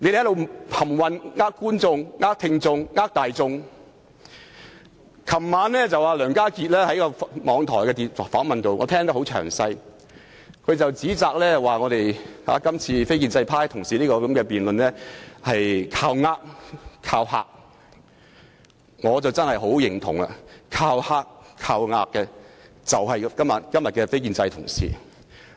昨晚，我詳細收聽了梁家傑接受網台的訪問，他指責我們建制派同事的辯論是"靠呃"、"靠嚇"，我真的十分認同，"靠呃"、"靠嚇"的就是今天的非建制派同事。